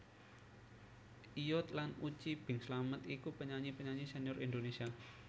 Iyut lan Uci Bing Slamet iku penyanyi penyanyi senior Indonesia